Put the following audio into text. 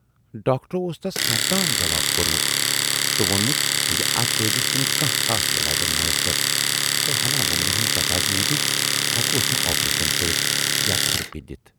ڈاکٹرو اوس تس کرتام جواب کورمُت تہٕ وونمُت زِ اتھ دٲدِس چھُنہٕ خاص کانہہ یلاجا مۅیسر تہٕ ہنا وُمبرِ ہٕندِ تقاضہٕ موجوٗب ہٮ۪کہوس نہٕ آپریشن کٔرِتھ یا تھرپی دِتھ۔